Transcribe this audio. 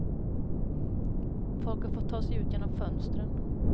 Folk har fått ta sig ut genom fönstren.